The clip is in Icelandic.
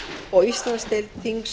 og íslandsdeild þings